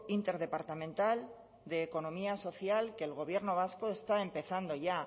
interdepartamental de economía social que el gobierno vasco está empezando ya